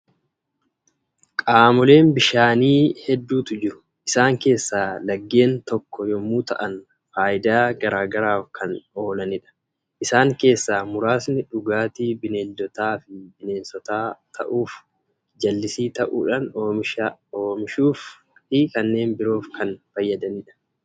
Qaamoleen bishaanii hedduutu jiru. Isaan keessaa laggeen tokko yommuu ta'an, faayidaa garaa garaaf kan oolanidha. Isaan keessaa muraasni dhugaatii bineeldotaa fi bineensotaa ta'uuf, jallisii ta'uudhaan oomisha oomishuu fi kanneen biroof kan fayyadudha.